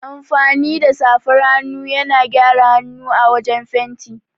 Amfani da safar hannu yana gyara hanu a wajan fenti.